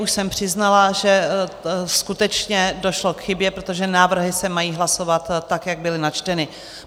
Už jsem přiznala, že skutečně došlo k chybě, protože návrhy se mají hlasovat tak, jak byly načteny.